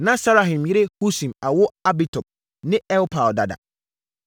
Na Saharaim yere Husim awo Abitub ne Elpaal dada.